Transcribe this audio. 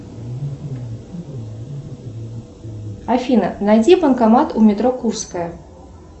афина найди банкомат у метро курская